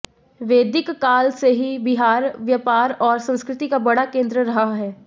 वैदिक काल से ही बिहार व्यापार और संस्कृति का बड़ा केंद्र रहा है